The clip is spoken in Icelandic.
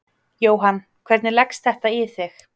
Jóhann: Hvernig leggst þetta í þig?